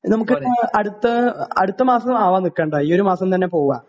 നമുക്ക് അടുത്ത മാസം ആവാൻ നിൽക്കണ്ട ഈ മാസം തന്നെ പോകാം